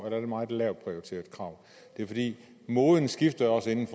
er det meget lavt prioriteret for moden skifter jo også inden